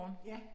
Ja